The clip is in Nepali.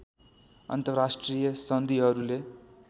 अन्तर्राष्ट्रिय सन्धिहरूले